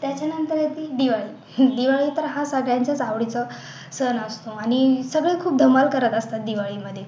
त्याच्या नंतर येते दिवाळी दिवाळी तर हा सगळ्यांचाच आवडीचा सण असतो आणि सगळे खूप धमाल करत असतात दिवाळी मध्ये